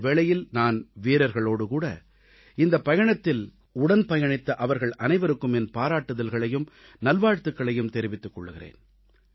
இந்த வேளையில் நான் வீரர்களோடுகூட இந்தப் பயணத்தில் உடன் பயணித்த அவர்கள் அனைவருக்கும் என் பாராட்டுதல்களையும் நல்வாழ்த்துகளையும் தெரிவித்துக் கொள்கிறேன்